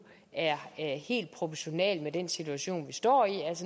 er helt proportional med den situation vi står i og